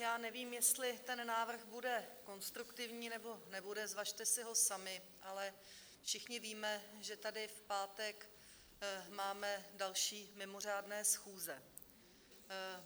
Já nevím, jestli ten návrh bude konstruktivní, nebo nebude, zvažte si ho sami, ale všichni víme, že tady v pátek máte další mimořádné schůze.